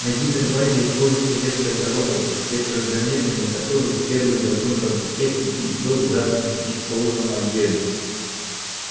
на гипербазе используется несколько роботов при программировании которых первый закон роботехники был задан не в полном объёме